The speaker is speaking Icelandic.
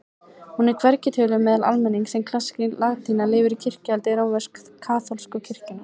Hún er hvergi töluð meðal almennings en klassísk latína lifir í kirkjuhaldi rómversk-kaþólsku kirkjunnar.